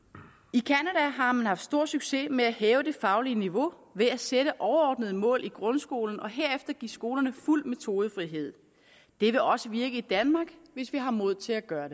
i canada har man haft stor succes med at hæve det faglige niveau ved at sætte overordnede mål i grundskolen og herefter give skolerne fuld metodefrihed det vil også virke i danmark hvis vi har mod til at gøre